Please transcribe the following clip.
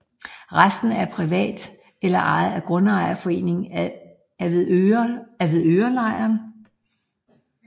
Resten er privat eller ejet af Grundejerforeningen Avedørelejren